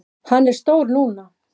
Hann er stór núna.